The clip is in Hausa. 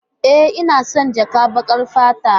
E, ina son jakar baƙar fata.